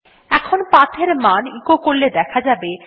এখন PATH এর মান এচো করলে দেখা যাবে